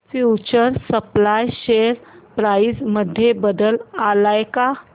future supply share price मध्ये बदल आलाय का